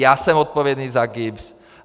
Já jsem odpovědný za GIBS.